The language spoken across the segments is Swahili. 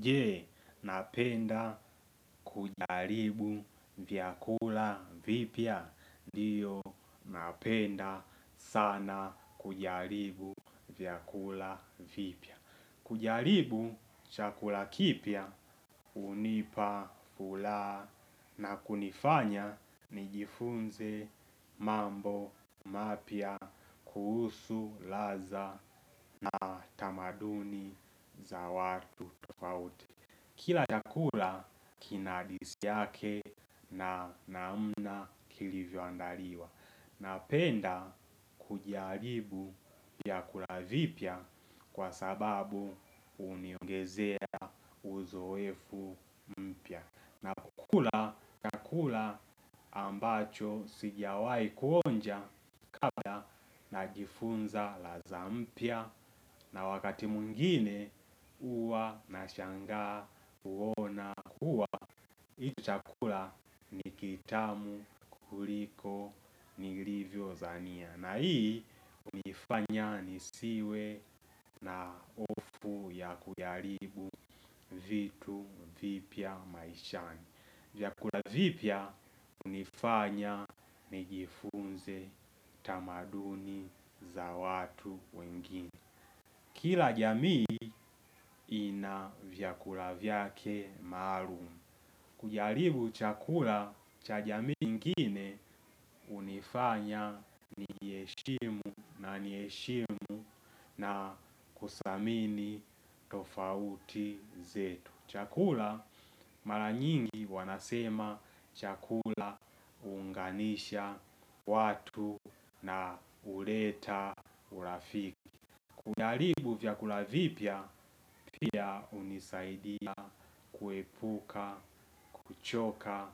Je, napenda kujaribu vyakula vipya? Ndiyo napenda sana kujaribu vyakula vipya. Kujaribu chakula kipya hunipa furaha na kunifanya nijifunze mambo mapya kuhusu ladha na tamaduni za watu tofauti. Kila chakula kina hadithi yake na namna kilivyoandaliwa. Napenda kujaribu vyakula vipya kwa sababu huniongezea uzoefu mpya na kukula chakula ambacho sijawahi kuonja kabla najifunza ladha mpya na wakati mwingine huwa nashangaa kuona kuwa hii chakula ni kitamu kuliko nilivyodhania. Na hii hunifanya nisiwe na hofu ya kujaribu vitu vipya maishani. Vyakula vipya hunifanya nijifunze tamaduni za watu wengine. Kila jamii ina vyakula vyake maalum. Kujaribu chakula cha jamii ingine hunifanya niheshimu na niheshimu na kuthamini tofauti zetu. Chakula mara nyingi wanasema chakula huunganisha watu na huleta urafiki. Kujaribu vyakula vipya, pia hunisaidia kuepuka, kuchoka,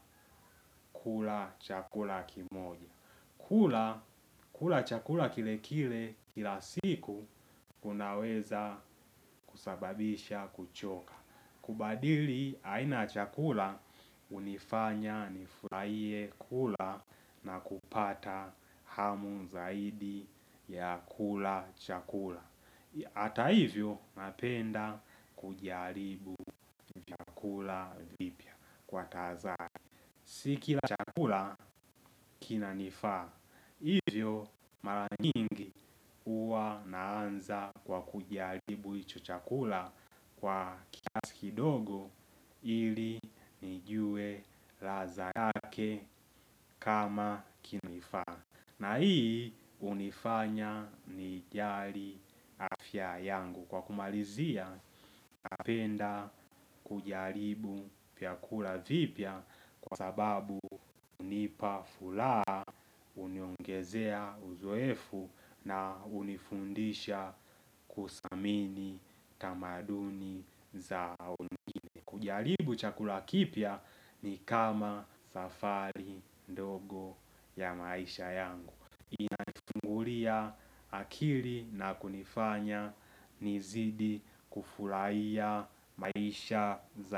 kula chakula kimoja. Kula. Kula chakula kile kile, kila siku, unaweza kusababisha kuchoka. Kubadili, aina ya chakula, hunifanya nifurahie kula na kupata hamu zaidi ya kula chakula. Hata hivyo napenda kujaribu vyakula vipya kwa tahadhari. Si kila chakula kinanifaa. Hivyo mara nyingi huwa naanza kwa kujaribu hicho chakula kwa kiasi kidogo ili nijue ladha yake kama kinanifaa. Na hii hunifanya nijali afya yangu. Kwa kumalizia, napenda kujaribu vyakula vipya kwa sababu hunipa furaha, huniongezea uzoefu na hunifundisha kuthamini tamaduni za wengine. Kujaribu chakula kipya ni kama safari ya maisha yangu. Inachungulia akili na kunifanya nizidi kufurahia maisha za.